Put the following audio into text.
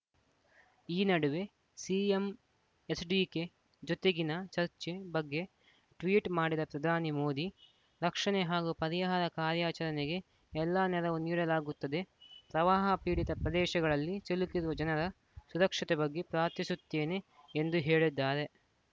ಈ ನಡುವೆ ಸಿಎಂ ಎಚ್‌ಡಿಕೆ ಜೊತೆಗಿನ ಚರ್ಚೆ ಬಗ್ಗೆ ಟ್ವೀಟ್‌ ಮಾಡಿದ ಪ್ರಧಾನಿ ಮೋದಿ ರಕ್ಷಣೆ ಹಾಗೂ ಪರಿಹಾರ ಕಾರ್ಯಾಚರಣೆಗೆ ಎಲ್ಲಾ ನೆರವು ನೀಡಲಾಗುತ್ತದೆ ಪ್ರವಾಹ ಪೀಡಿತ ಪ್ರದೇಶಗಳಲ್ಲಿ ಸಿಲುಕಿರುವ ಜನರ ಸುರಕ್ಷತೆ ಬಗ್ಗೆ ಪ್ರಾರ್ಥಿಸುತ್ತೇನೆ ಎಂದು ಹೇಳಿದ್ದಾರೆ